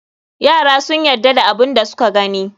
Yara sun yadda da abun da suka gani.